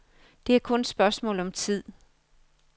Det er kun et spørgsmål om tid.